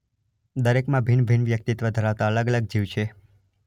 દરેક માં ભિન્ન ભિન્ન વ્યક્તિત્વ ધરાવતાં અલગ અલગ જીવ છે.